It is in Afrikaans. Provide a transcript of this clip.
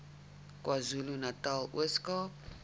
kwazulunatal ooskaap